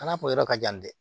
A n'a kun yɔrɔ ka jan dɛ